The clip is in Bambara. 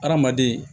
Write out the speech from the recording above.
Hadamaden